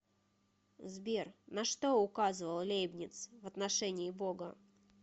сбер на что указывал лейбниц в отношении бога